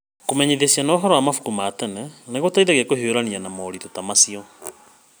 Kũmenyithia ciana ũhoro wa mabuku ma tene nĩ gũtũteithagia kũhiũrania na moritũ ta macio.